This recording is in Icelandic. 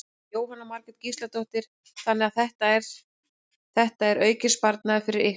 Jóhanna Margrét Gísladóttir: Þannig að þetta er, þetta er aukinn sparnaður fyrir ykkur?